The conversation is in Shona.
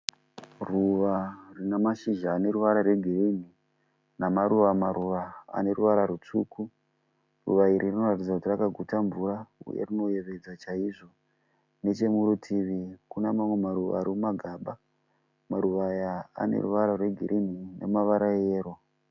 Ruva rinamashizha aneruvara re girinhi namaruva maruva ane ruvara rutsvuku. Ruva iri rinoratidza kuti rakaguta mvura ,uye rinoyevedza chaizvo . Nechemurutivi kuna mamwe maruva ari mumagaba . Maruva aya ane ruvara rwe girinhi nemavara eyero.